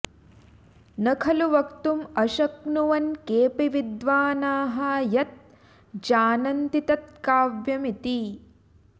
न खलु वक्तुं अशक्नुवन् केऽपि विद्वानाः यत् जानन्ति तत् काव्यं इति